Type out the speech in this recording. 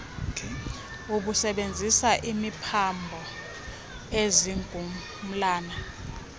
obusebenzisa imiphambo zingqumlana